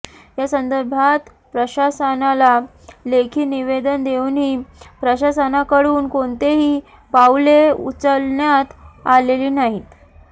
या संदर्भात प्रशासनाला लेखी निवेदन देऊनही प्रशासनाकडून कोणतेही पाऊले उचलण्यात आलेली नाहीत